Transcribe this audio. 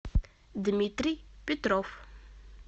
дмитрий петров